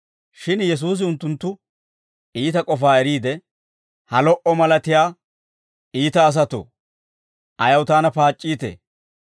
Shin Yesuusi unttunttu iita k'ofaa eriide, «Ha lo"a malatiyaa iita asatoo, ayaw taana paac'c'iitee?